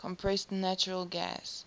compressed natural gas